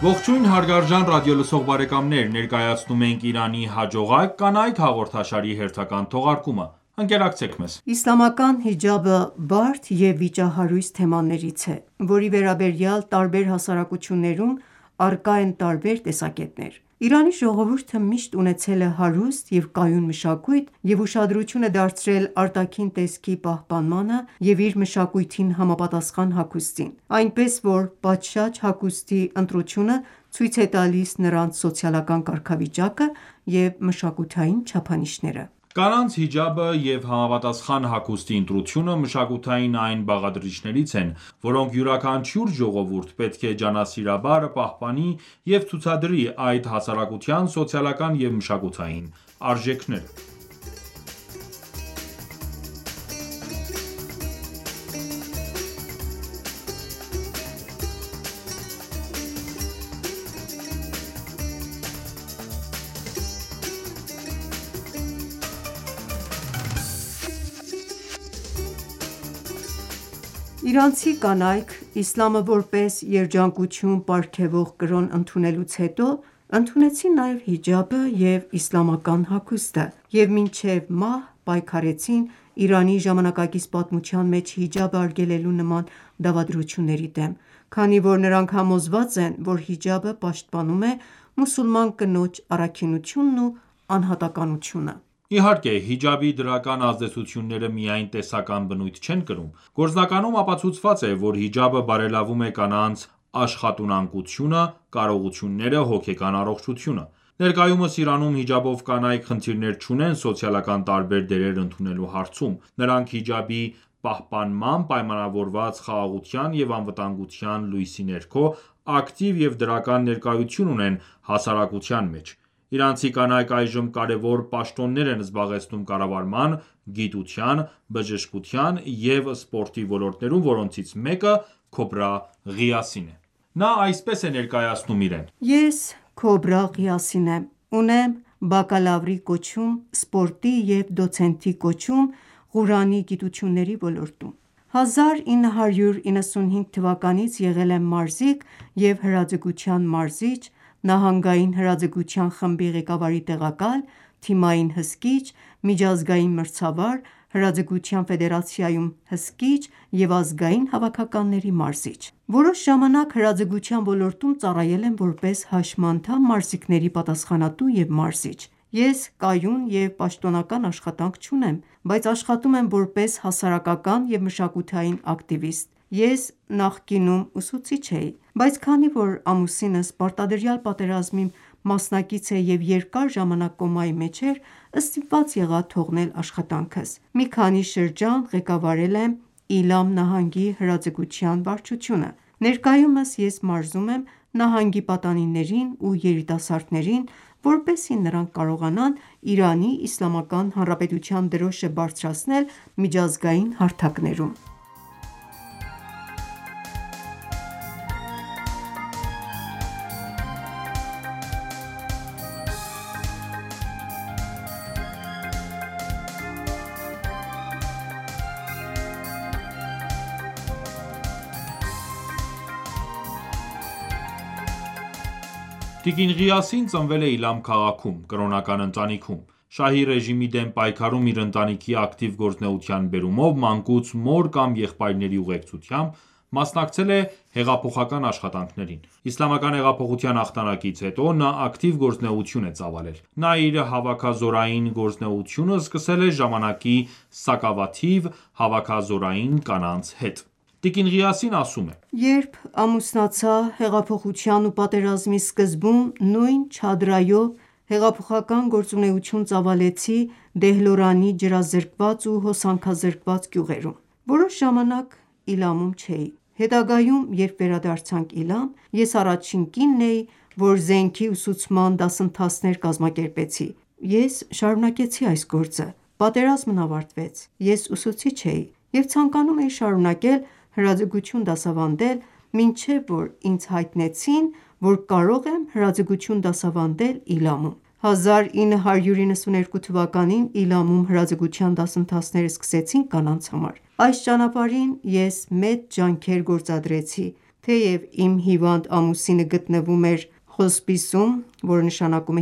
Ողջույն, հարգարժան ռադիոլսող բարեկամներ: Ներկայացնում ենք «Իրանի հաջողակ կանայք» հաղորդաշարի հերթական թողարկումը: Ընկերակցեք մեզ: Իսլամական հիջաբը բարդ և վիճահարույց թեմաներից է, որի վերաբերյալ տարբեր հասարակություններում առկա են տարբեր տեսակետներ: Իրանի ժողովուրդը միշտ ունեցել է հարուստ և կայուն մշակույթ և ուշադրություն է դարձրել արտաքին տեսքի պահպանմանը և իր մշակույթին համապատասխան հագուստին: Այնպես որ պատշաճ հագուստի ընտրությունը ցույց է տալիս նրանց սոցիալական կարգավիճակը և մշակութային չափանիշները: Կանանց հիջաբը և համապատասխան հագուստի ընտրությունը մշակութային այն բաղադրիչներից են, որոնք յուրաքանչյուր ժողովուրդ պետք է ջանասիրաբար պահպանի և ցուցադրի այդ հասարակության սոցիալական և մշակութային արժեքները: Իրանցի կանայք իսլամը որպես երաջանկություն պարգևող կրոն ընդունելուց հետո, ընդունեցին նաև հիջաբը և իսլամական հագուստը և մինչև մահ պայքարեցին Իրանի ժամանակակից պատմության մեջ հիջաբը արգելելու նման դավադրությունների դեմ: Քանի որ նրանք համոզված են, որ հիջաբը պաշտպանում է մուսուլման կնոջ առաքինությունն ու անհատականությունը: Իհարկե, հիջաբի դրական ազդեցությունները միայն տեսական բնույթ չեն կրում: Գործնականում ապացուցված է, որ հիջաբը բարելավում է կանանց աշխատունակությունը, կարողությունները, հոգեկան առողջությունը: Ներկայումս Իրանում հիջաբով կանայք խնդիրներ չունեն սոցիալական տարբեր դերեր ընդունելու հարցում։ Նրանք հիջաբի պահպանմամբ պայմանավորված խաղաղության և անվտանգության լույսի ներքո, ակտիվ և դրական ներկայություն ունեն հասարակության մեջ։ Իրանցի կանայք այժմ կարևոր պաշտոններ են զբաղեցնում կառավարման, գիտության, բժշկության և սպորտի ոլորտներում, որոնցից մեկը Քոբրա Ղիասին է: Նա այսպես է ներկայացնում իրեն. «Ես Քոբրա Ղիասին եմ։ Ունեմ բակալավրի կոչում՝ սպորտի և դոցենտի կոչում՝ Ղուրանի գիտությունների ոլորտներում: 1995 թվականից եղել եմ մարզիկ և հրաձգության մարզիչ, նահանգային հրաձգության խմբի ղեկավարի տեղակալ, թիմային հսկիչ, միջազգային մրցավար, հրաձգության ֆեդերացիայում՝ հսկիչ և ազգային հավաքականների մարզիչ։ Որոշ ժամանակ հրաձգության ոլորտում ծառայել եմ որպես հաշմանդամ մարզիկների պատասխանատու և մարզիչ։ Ես կայուն և պաշտոնական աշխատանք չունեմ, բայց աշխատում եմ որպես հասարակական և մշակութային ակտիվիստ։ Ես նախկինում ուսուցիչ էի, բայց քանի որ ամուսինս պարտադրյալ պատերազմի ամսնակից է և երկար ժամանակ կոմայի մեջ էր, ստիպված եղա թողնել աշխատանքս։ Մի քանի շրջան ղեկավարել եմ Իլամ նահանգի հրաձգության վարչությունը։ Ներկայումս ես մարզում եմ նահանգի պատանիներին ու երիտասարդներին, որպեսզի նրանք կարողանան Իրանի Իսլամական Հանրապետության դրոշը բարձրացնել միջազգային հարթակներում։ Տիկին Ղիասին ծնվել է Իլամ քաղաքում, կրոնական ընտանիքում։ Շահի ռեժիմի դեմ պայքարում իր ընտանիքի ակտիվ գործունեության բերումով մանկուց մոր կամ եղբայրների ուղեկցությամբ մասնակցել է հեղափոխական աշխատանքներին։ Իսլամական հեղափոխության հաղթանակից հետո նա ակտիվ գործունեություն է ծավալել: Նա իր հավաքազորային գործունեությունը սկսել է ժամանակի սակավաթիվ հավաքազորային կանանց հետ։ Տիկին Ղիասին ասում է․ «Երբ ամուսնացա, հեղափոխության ու պատերազմի սկզբում նույն չադրայով հեղափոխական գործունեություն ծավալեցի Դեհլորանի ջրազրկված ու հոսանքազրկված գյուղերում: Որոշ ժամանակ Իլամում չէի։ Հետագայում, երբ վերադարձանք Իլամ, ես առաջին կինն էի, որ զենքի ուսուցման դասընթացներ կազմակերպեցի։ Ես շարունակեցի այս գործը: Պատերազմն ավարտվեց: Ես ուսուցիչ էի և ցանկանում էի շարունակել հրաձգություն դասավանդել, մինչև որ ինձ հայտնեցին, որ կարող եմ հրաձգություն դասավանդել Իլամում։ 1992թ.-ին Իլամում հրաձգության դասընթացներ սկսեցինք կանանց համար: Այս ճանապարհին ես մեծ ջանքեր գործադրեցի, թեև իմ հիվանդ ամուսինը գտնվում էր հոսպիսում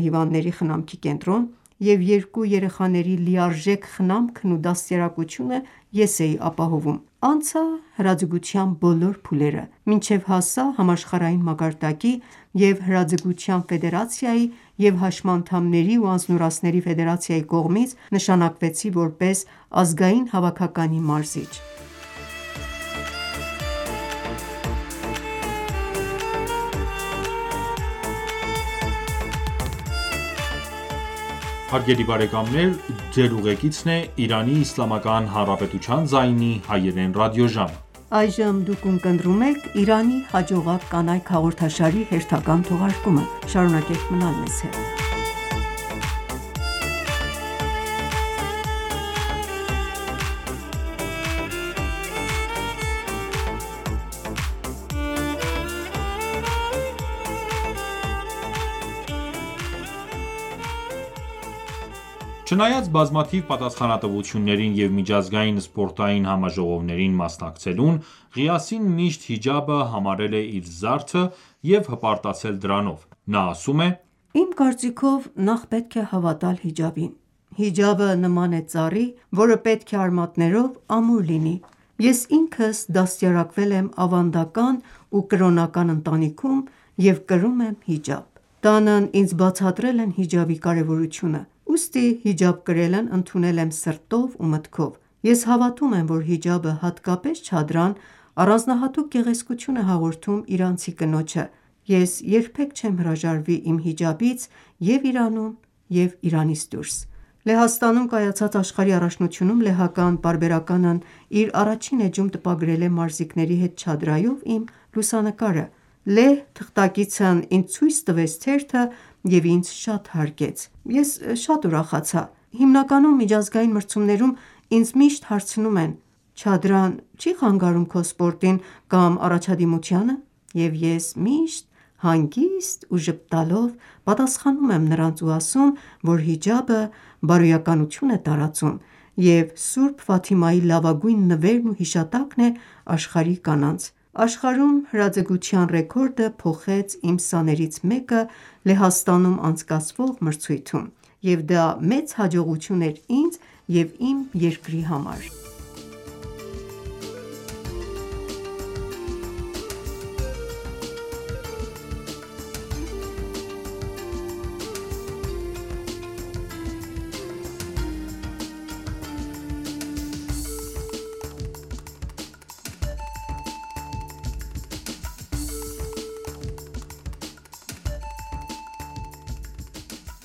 (Հիվանդների խնամքի կենտրոն) և երկու երեխաների լիարժեք խնամքն ու դաստիարակությունը ես էի ապահովում: Անցա հրաձգության բոլոր փուլերը, մինչև հասա համաշխարհային մակարդակի, և հրաձգության ֆեդերացիայի և հաշմանդամների ու անձնուրացների ֆեդերացիայի կողմից նշանակվեցի որպես ազգային հավաքականի մարզիչ»: Չնայած բազմաթիվ պատասխանատվություններին և միջազգային սպորտային համաժողովներին մասնակցելուն, Ղիասին միշտ հիջաբը համարել է իր զարդը և հպարտացել դրանով։ Նա ասում է. «Իմ կարծիքով, նախ պետք է հավատալ հիջաբին: Հիջաբը նման է ծառի, որը պետք է արմատներով ամուր լինի: Ես ինքս դաստիարակվել եմ ավանդական ու կրոնական ընտանիքում և կրում եմ հիջաբ: Տանն ինձ բացատրել են հիջաբի կարևորությունը: Ուստի հիջաբ կրելն ընդունել եմ սրտով ու մտքով։ Ես հավատում եմ, որ հիջաբը, հատկապես չադրան, առանձնահատուկ գեղեցկություն է հաղորդում իրանցի կնոջը, ես երբեք չեմ հրաժարվի իմ հիջաբից և՛ Իրանում և՛ Իրանից դուրս: Լեհաստանում կայացած աշխարհի առաջնությունում լեհական պարբերականն իր առաջին էջում տպագրել է մարզիկների հետ չադրայով իմ լուսանկարը։ Լեհ թղթակիցն ինձ ցույց տվեց թերթը և ինձ շատ հարգեց։ Ես շատ ուրախացա: Հիմնականում միջազգային մրցումներում ինձ միշտ հարցնում են՝ չադրան չի՞ խանգարում քո սպորտին կամ առաջադիմությանը։ Եվ ես միշտ հանգիստ ու ժպտալով պատասխանում եմ նրանց ու ասում, որ հիջաբը, բարոյականություն է տարածում և սուրբ Ֆաթիմայի լավագույն նվերն ու հիշատակն է աշխարհի կանանց: Աշխարհում հրաձգության ռեկորդը փոխեց իմ սաներից մեկը Լեհաստանում անցկացվող մրցույթում, և դա մեծ հաջողություն էր ինձ և իմ երկրի համար»։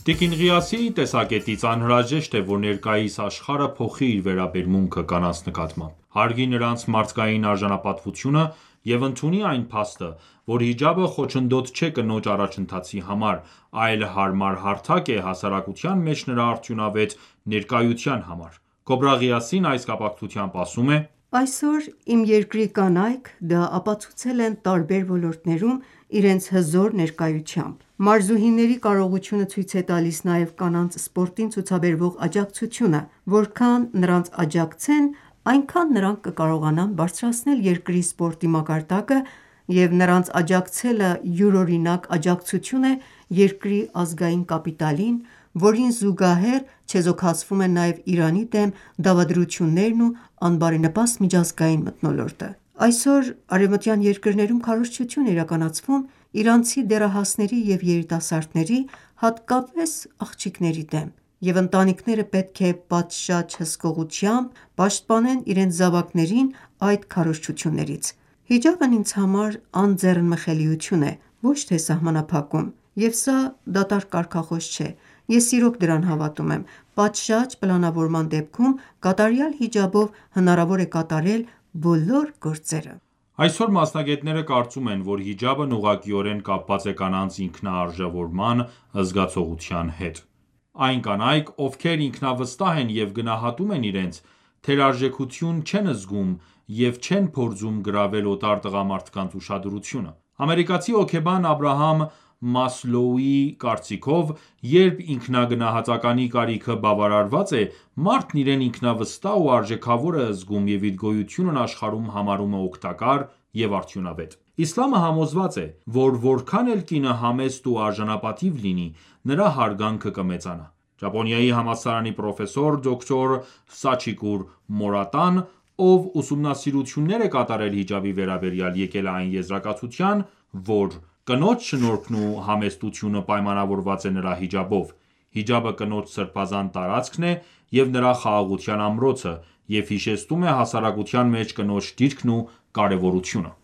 Տիկին Ղիասիի տեսակետից անհրաժեշտ է, որ ներկայիս աշխարհը փոխի իր վերաբերմունքը կանանց նկատմամբ, հարգի նրանց մարդկային արժանապատվությունը և ընդունի այն փաստը, որ հիջաբը խոչընդոտ չէ կնոջ առաջընթացի համար, այլ հարմար հարթակ է հասարակության մեջ նրա արդյունավետ ներկայության համար։ Քոբրա Ղիասին այս կապակցությամբ ասում է. «Այսօր իմ երկրի կանայք դա ապացուցել են տարբեր ոլորտներում իրենց հզոր ներկայությամբ։ Մարզուհիների կարողությունը ցույց է տալիս նաև կանանց սպորտին ցուցաբերվող աջակցությունը, որքան նրանց աջակցեն, այնքան նրանք կկարողանան բարձրացնել երկրի սպորտի մակարդակը, և նրանց աջակցելը յուրօրինակ աջակցություն է երկրի ազգային կապիտալին, որին զուգահեռ չեզոքացվում են նաև Իրանի դեմ դավադրություններն ու անբարենպաստ միջազգային մթնոլորտը։ Այսօր արևմտյան երկրներում քարոզչություն է իրականացվում իրանցի դեռահասների և երիտասարդների, հատկապես աղջիկների դեմ, և ընտանիքները պետք է պատշաճ հսկողությամբ պաշտպանեն իրենց զավակներին այդ քարոզչություններից: Հիջաբն ինձ համար անձեռնմխելիություն է, ոչ թե սահմանափակում։ Եվ սա դատարկ կարգախոս չէ, ես իրոք դրան հավատում եմ։ Պատշաճ պլանավորման դեպքում կատարյալ հիջաբով հնարավոր է կատարել բոլոր գործերը»: Այսօր մասնագետները կարծում են, որ հիջաբն ուղղակիորեն կապված է կանանց ինքնաարժևորման զգացողության հետ: Այն կանայք, ովքեր ինքնավստահ են և գնահատում են իրենց, թերարժեքություն չեն զգում և չեն փորձում գրավել օտար տղամարդկանց ուշադրությունը։ Ամերիկացի հոգեբան Աբրահամ Մասլոուի կարծիքով, երբ ինքնագնահատականի կարիքը բավարարված է, մարդն իրեն ինքնավստահ ու արժեքավոր է զգում և իր գոյությունն աշխարհում համարում է օգտակար և արդյունավետ։ Իսլամը համոզված է, որ որքան էլ կինը համեստ ու արժանապատիվ լինի, նրա հարգանքը կմեծանա: Ճապոնիայի համալսարանի պրոֆեսոր դոկտոր Սաչիկուր Մորատան, ով ուսումնասիրություններ է կատարել հիջաբի վերաբերյալ, եկել է այն եզրակացության, որ «Կնոջ շնորհքն ու համեստությունը պայմանավորված է նրա հիջաբով: Հիջաբը կնոջ սրբազան տարածքն է և նրա խաղաղության ամրոցը, և հիշեցնում է հասարակության մեջ կնոջ դիրքն ու կարևորությունը»: